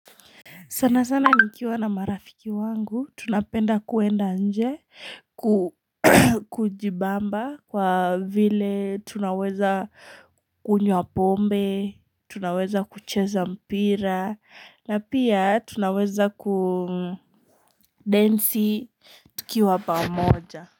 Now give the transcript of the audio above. Sana sana nikiwa na marafiki wangu, tunapenda kuenda nje, kujibamba kwa vile tunaweza kunywa pombe, tunaweza kucheza mpira, na pia tunaweza kudensi tukiwa pamoja.